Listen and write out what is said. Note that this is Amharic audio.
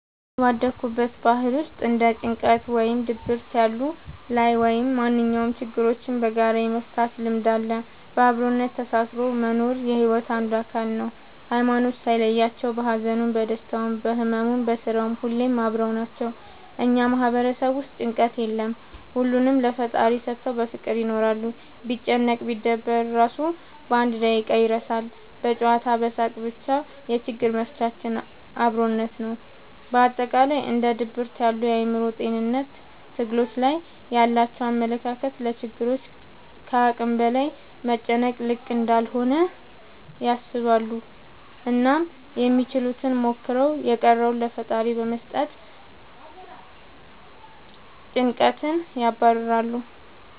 እኔ ባደኩበት ባህል ውስጥ እንደ ጭንቀት ወይም ድብርት ያሉ ላይ ወይም ማንኛውም ችግሮችን በጋራ የመፍታት ልምድ አለ። በአብሮነት ተሳስሮ መኖር የሒወት አንዱ አካል ነው። ሀይማኖት ሳይለያቸው በሀዘኑም በደስታውም በህመሙም በስራውም ሁሌም አብረው ናቸው። እኛ ማህበረሰብ ውስጥ ጭንቀት የለም ሁሉንም ለፈጣሪ ሰተው በፍቅር ይኖራሉ። ቢጨነቅ ቢደበር እራሱ አንድ በደቂቃ ይረሳል በጨዋታ በሳቅ በቻ የችግሮች መፍቻችን አብሮነት ነው። በአጠቃላይ እንደ ድብርት ያሉ የአእምሮ ጤንነት ትግሎች ላይ ያላቸው አመለካከት ለችግሮች ከአቅም በላይ መጨነቅ ልክ እንዳልሆነ ያስባሉ አናም ያችሉትን ሞክረው የቀረውን ለፈጣሪ በመስጠት ጨንቀትን ያባርራሉ።